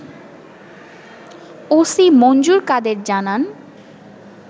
OC Manjur Kader জানান